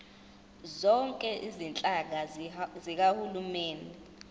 zonke izinhlaka zikahulumeni